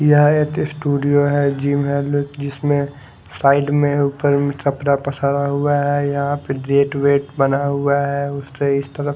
यह एक स्टूडियो है जिम है जिसमें साइड में ऊपर में कपड़ा पसारा हुआ है यहां पे गेट वेट बना हुआ है उसके इस तरफ --